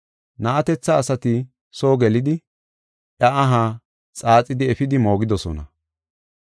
Na7atetha asati soo gelidi iya aha xaaxidi efidi moogidosona.